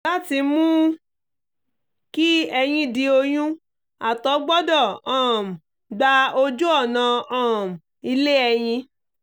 láti mú kí ẹyin di oyún àtọ̀ gbọdọ̀ um gba ojú ọ̀nà um ilé ẹyin